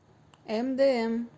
мдм